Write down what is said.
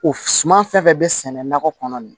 O suman fɛn fɛn bɛ sɛnɛ nakɔ kɔnɔ nin